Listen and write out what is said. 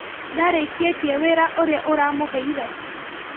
Ndarĩkĩtie wĩra ũrĩa ũramũheire?